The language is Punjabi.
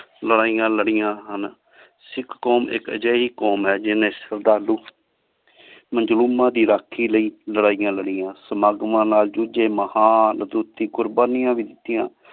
ਲਾਰੈਯਾਂ ਲਾਰਿਯਾੰ ਹਨ ਸਿਖ ਕੋਮ ਇਕ ਏਹੋ ਜੈ ਕੋਮ ਹੈ ਜਿਨ੍ਹੀ ਸਦਾਲੂ ਮਜ਼ਲੂਮਾ ਦੀ ਰਾਖੀ ਲੈ ਲਾਰੈਯਾਂ ਲਾਰਿਯਾੰ ਸਮਾਗ੍ਵਾਂ ਨਾਲ ਜੁ ਜੈ ਮਹਾਂ ਅਟੂਟ ਦੀ ਕ਼ੁਰ੍ਬਾਨਿਯਾਂ ਵੀ ਦਿਤਿਯਾਂ